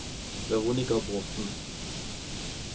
Veronica Bråthen